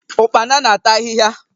Ụkpana na-ata ahịhịa.